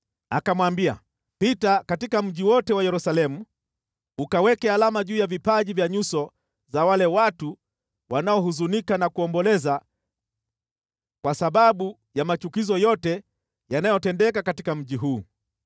akamwambia, “Pita katika mji wote wa Yerusalemu ukaweke alama juu ya vipaji vya nyuso za wale watu wanaohuzunika na kuomboleza kwa sababu ya machukizo yote yanayotendeka katika mji huu.”